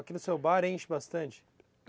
Aqui no seu bar enche bastante?